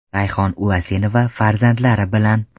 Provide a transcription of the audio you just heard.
Rayhon Ulasenova farzandlari bilan.